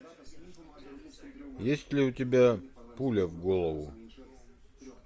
есть ли у тебя пуля в голову